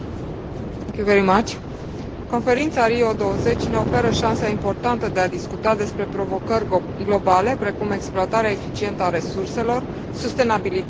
Conferința Rio 20 ne oferă șansa importantă de a discuta despre provocări globale precum exploatarea eficientă a resurselor, sustenabilitate și securitate alimentară.